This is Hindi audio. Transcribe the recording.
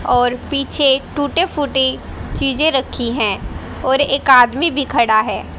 और पीछे टूटे फूटे चीजें रखी हैं और एक आदमी भी खड़ा है।